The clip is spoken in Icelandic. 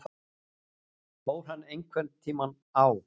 Fór hann einhverntíma á